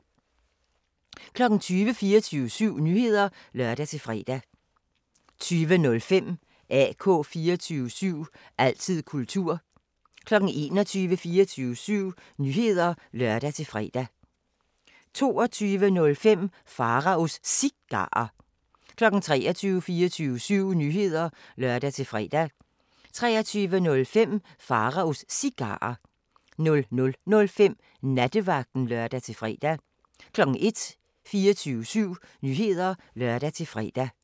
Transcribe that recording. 20:00: 24syv Nyheder (lør-fre) 20:05: AK 24syv – altid kultur 21:00: 24syv Nyheder (lør-fre) 21:05: Mikrofonholder (G) 22:00: 24syv Nyheder (lør-fre) 22:05: Pharaos Cigarer 23:00: 24syv Nyheder (lør-fre) 23:05: Pharaos Cigarer 00:05: Nattevagten (lør-fre) 01:00: 24syv Nyheder (lør-fre)